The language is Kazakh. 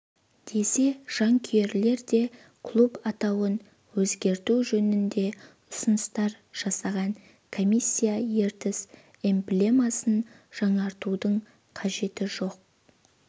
десе жанкүйерлер де клуб атауын өзгерту жөнінде ұсыныстар жасаған комиссия ертіс эмблемасын жаңартудың қажеті жоқ